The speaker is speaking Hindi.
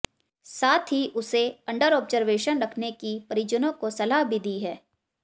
साथ ही उसे अंडर ऑब्जर्वेशन रखने की परिजनों को सलाह भी दी है